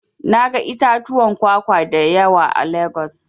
Na ga itatuwan kwakwa da yawa a Legas.